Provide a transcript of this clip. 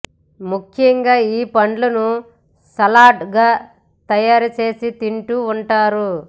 ముఖ్యంగా ఈ పండును సలాడ్ గా తయారు చేసి తింటూ ఉంటారు